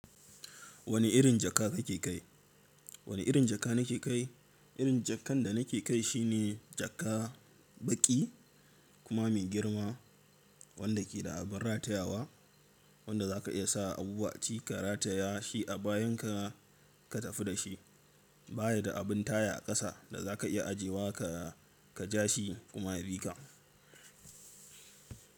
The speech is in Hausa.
Wani irin jaka kake kai? Wani irin jaka nake kai? Irin jakan da nake kai shi ne jaka baƙi kuma mai girma wanda ke da abin ratayawa wanda za ka iya sa abubuwa ci ka rataya shi a bayan ka, ka tafi da shi. Baya da abin taya a ƙasa da za ka iya ajewa ka, ka ja shi kuma ya bi ka.